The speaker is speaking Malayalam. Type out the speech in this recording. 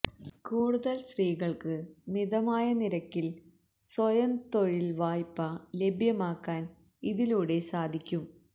കൂടുതല് സ്ത്രീകള്ക്ക് മിതമായ നിരക്കില് സ്വയം തൊഴില്വായ്പ ലഭ്യമാക്കാന് ഇതിലൂടെ സാധിക്കും